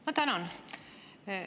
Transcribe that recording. Ma tänan!